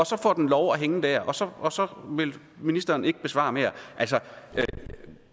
så får den lov at hænge der og så og så vil ministeren ikke besvare mere